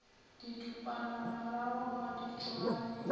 didupanamarago ga di tšwane a